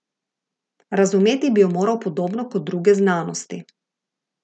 Razumeti bi jo morali podobno kot druge znanosti.